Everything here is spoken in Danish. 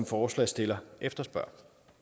forslagsstillerne efterspørger